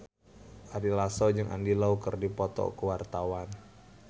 Ari Lasso jeung Andy Lau keur dipoto ku wartawan